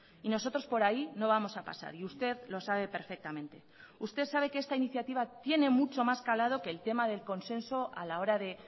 y nosotros por ahí no vamos a pasar y usted lo sabe perfectamente usted sabe que esta iniciativa tiene mucho más calado que el tema del consenso a la hora de